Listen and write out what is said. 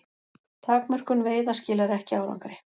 Takmörkun veiða skilar ekki árangri